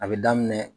A bɛ daminɛ